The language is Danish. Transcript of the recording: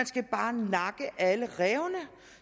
skal nakke alle rævene